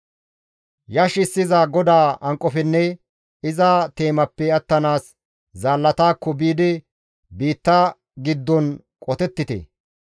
Yashissiza GODAA hanqofenne iza teemappe attanaas zaallatakko biidi biitta giddon qotettite!